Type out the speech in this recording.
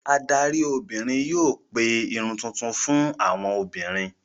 Adarí obìnrin yóò pe Irun tuntun fún àwọn obìnrin.